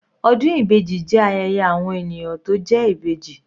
Ọdún ibeji jẹ́ ayẹyẹ àwọn ènìyàn tó jẹ́ Ìbejì.